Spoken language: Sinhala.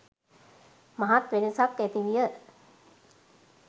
මහත් වෙනසක් ඇතිවිය.